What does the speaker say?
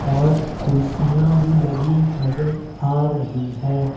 और कुर्सियां भी लगी नजर आ रही है।